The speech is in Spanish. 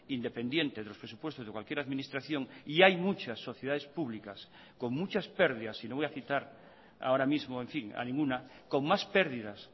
independiente de los presupuestos de cualquier administración y hay muchas sociedades públicas con muchas pérdidas y no voy a citar ahora mismo en fin a ninguna con más pérdidas